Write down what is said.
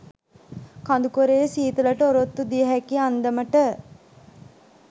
කඳුකරයේ සීතලට ඔරොත්තු දිය හැකි අන්දමට